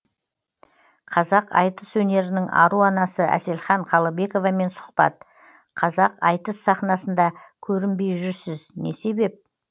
қазақ айтыс өнерінің ару анасы әселхан қалыбековамен сұхбат қазақ айтыс сахнасында көрінбей жүрсіз не себеп